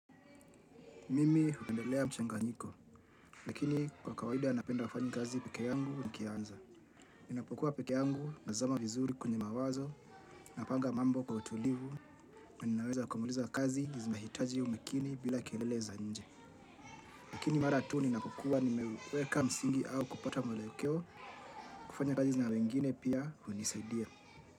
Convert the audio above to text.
Mimi hupendelea mchanganyiko, lakini kwa kawaida napenda wafanyi kazi peke yangu na kianza. Ninapokuwa pekeangu, mazama vizuri kwenye mawazo, napanga mambo kwa utulivu, na naweza kumaliza kazi, zimahitaji umekini bila kielele za nje. Lakini mara tu ninapokuwa, nimeweka msingi au kupata mwelekeo, kufanya kazi na wengine pia unisaidia.